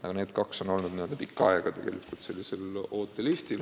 Aga need kaks on olnud pikka aega ootelistil.